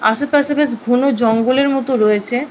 আশেপাশে বেশ ঘনজঙ্গলের মতো রয়েছে।